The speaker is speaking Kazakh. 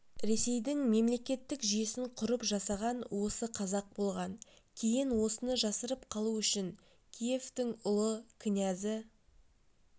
ресейдің мемлекеттік жүйесін құрып жасаған осы қазақ болған кейін осыны жасырып қалу үшін киевтің ұлы князі